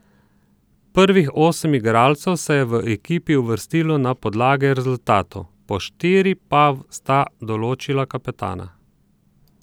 Prvih osem igralcev se je v ekipi uvrstilo na podlagi rezultatov, po štiri pa sta določila kapetana.